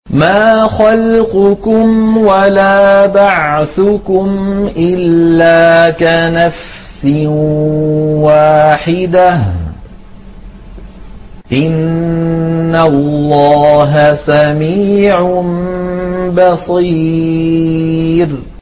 مَّا خَلْقُكُمْ وَلَا بَعْثُكُمْ إِلَّا كَنَفْسٍ وَاحِدَةٍ ۗ إِنَّ اللَّهَ سَمِيعٌ بَصِيرٌ